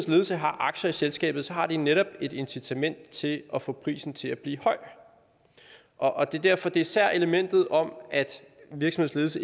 ledelse har aktier i selskabet har de netop et incitament til at få prisen til at blive høj og det er derfor især elementet om at en virksomheds